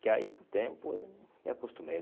Que aí, com o tempo, eu me acostumei.